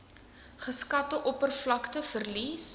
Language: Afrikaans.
geskatte oppervlakte verlies